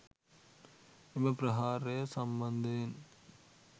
එම ප්‍රහාරය සම්බන්ධයෙන්